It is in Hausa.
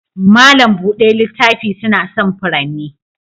Mallam buɗe littafi suna son furanni.